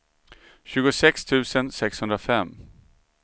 tjugosex tusen sexhundrafem